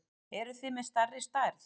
Eruð þið með stærri stærð?